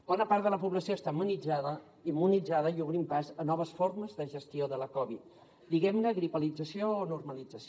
bona part de la població està immunitzada i obrim pas a noves formes de gestió de la covid diguem ne gripalització o normalització